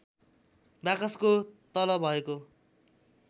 बाकसको तल भएको